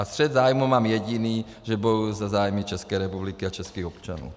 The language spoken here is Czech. A střet zájmů mám jediný - že bojuji za zájmy České republiky a českých občanů.